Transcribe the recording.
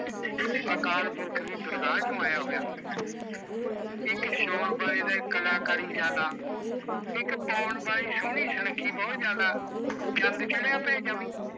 ਅਕਾਲ ਪੁਰਖ ਦੀ ਦਰਗਾਹ ਚੋਂ ਆਇਆ ਹੋਇਆ ਇੱਕ ਸ਼ਿਓਂਣ ਵਾਲੇ ਦੀ ਕਲਾਕਾਰੀ ਜਿਆਦਾ ਇੱਕ ਪਾਉਣ ਵਾਲੀ ਸੋਹਣੀ ਸੁਣੱਖੀ ਬਹੁਤ ਜਿਆਦਾ ਚੰਦ ਚੜਿਆ ਪਿਆ ਜਮੀ